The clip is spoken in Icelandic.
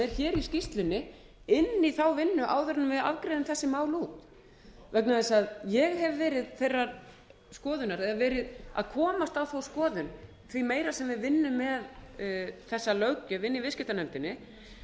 hér í skýrslunni inn í vinnuna áður en við afgreiðum þessi mál út vegna þess að ég hef verið þeirrar skoðunar eða verið að komast á þá skoðun því meira sem við vinnum með þessa löggjöf inn í viðskiptanefndinni